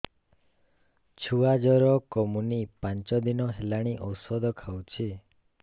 ଛୁଆ ଜର କମୁନି ପାଞ୍ଚ ଦିନ ହେଲାଣି ଔଷଧ ଖାଉଛି